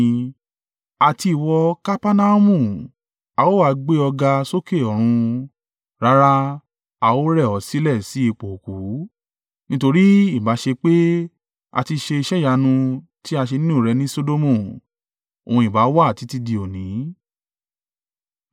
Àti ìwọ Kapernaumu, a ó ha gbé ọ ga sókè ọ̀run? Rárá, a ó rẹ̀ ọ́ sílẹ̀ sí ipò òkú. Nítorí, ìbá ṣe pé a ti ṣe iṣẹ́ ìyanu tí a ṣe nínú rẹ ní Sodomu, òun ìbá wà títí di òní.